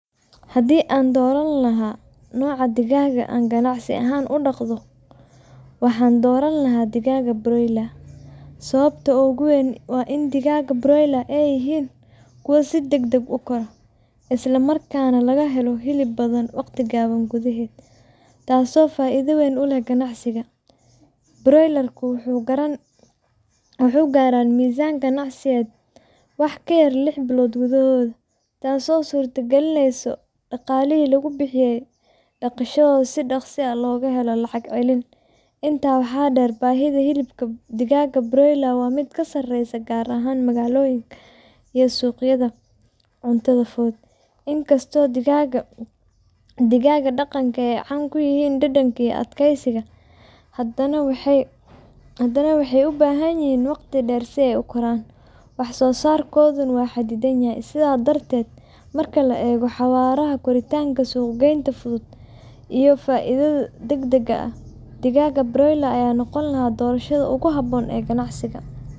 Haddii aan dooran lahaa nooca digaagga aan ganacsi ahaan u dhaqdo, waxaan dooran lahaa digaagga broiler. Sababta ugu weyn waa in digaagga broiler ay yihiin kuwo si degdeg ah u kora, isla markaana laga helo hilib badan waqti gaaban gudaheed, taasoo faa’iido weyn u leh ganacsiga. Broiler-ku waxay gaaraan miisaan ganacsiyeed wax ka yar lix toddobaad gudahood, taasoo suurtagelinaysa in dhaqaalihii lagu bixiyay dhaqashadooda si dhaqso ah looga helo lacag celin. Intaa waxaa dheer, baahida hilibka digaagga broiler waa mid sareysa, gaar ahaan magaalooyinka iyo suuqyada cuntada fudud. Inkastoo digaagga kiemyeji (digaagga dhaqanka) ay caan ku yihiin dhadhanka iyo adkeysiga, haddana waxay u baahan yihiin waqti dheer si ay u koraan, wax-soosaarkooduna waa xadidan. Sidaas darteed, marka la eego xawaaraha koritaanka, suuq-geynta fudud, iyo faa’iidada degdega ah, digaagga broiler ayaa noqon lahaa doorashada ugu habboon ee ganacsi.